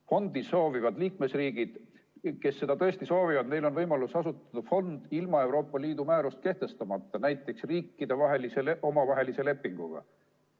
Fondi soovivatel liikmesriikidel, kes seda tõesti soovivad, on võimalus asutada fond ilma Euroopa Liidu määrust kehtestamata, näiteks riikide omavahelise lepinguga.